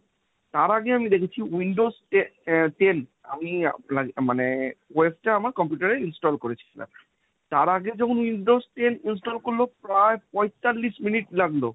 তার আগে আমি দেখেছি windows টে~ আহ ten আমি আহ মানে web টা আমার computer এ install করিয়েছিলাম। তার আগে যখন windows ten install করল প্রায় পঁয়তাল্লিশ মিনিট লাগলো।